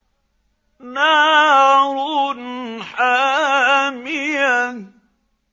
نَارٌ حَامِيَةٌ